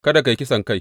Kada ka yi kisankai.